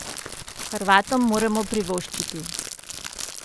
Hrvatom moremo privoščiti.